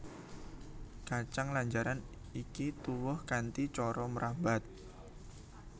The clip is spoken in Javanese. Kacang lanjaran iki tuwuh kanthi cara mrambat